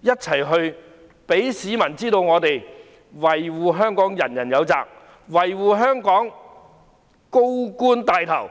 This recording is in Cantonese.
一起讓市民知道，維護香港人人有責，維護香港，高官牽頭。